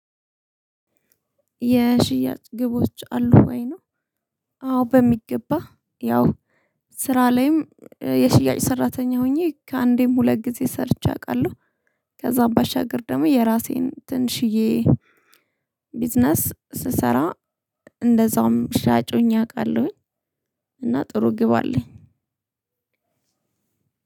የሽያጭ ግቦች አሉ ወይ ነው? አዎ በሚገባ ያው ስራ ላይም የሽያጭ ሰራተኛ ሆኜ ከአንዴም ሁለት ጊዜ ሰርቼ አውቃለሁ። ከዛ ባሻገር ደግሞ የራሴን ትንሽዬ ቢዝነስ ስሰራ እንደዛውም ሻጭ ሁኜ አውቃለሁኝ። እና ጥሩ ግብ አለኝ።